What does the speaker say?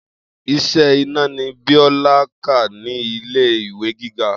Is̩é̩ iná ni Bíó̩lá kà nílé ìwé gíga